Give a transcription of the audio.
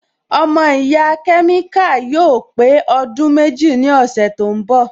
Ọmọ ìyá kẹ́míkà yóò pé ọdún méjì ní ọ̀sẹ̀ tí ó ń bọ̀